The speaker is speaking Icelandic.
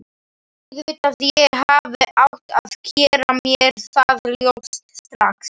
Auðvitað, ég hefði átt að gera mér það ljóst strax.